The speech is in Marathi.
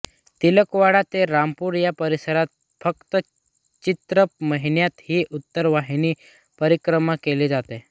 तिलकवाडा ते रामपुरा या परिसरात फक्त चैत्र महिन्यात ही उत्तरवाहिनी परिक्रमा केली जाते